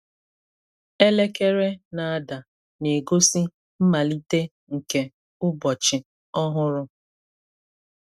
Elekere na-ada, na-egosi mmalite nke ụbọchị ọhụrụ.